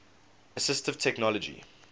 assistive technology